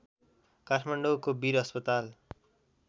काठमाडौँको वीर अस्पताल